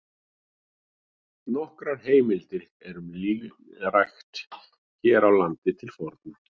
Nokkrar heimildir eru um línrækt hér á landi til forna.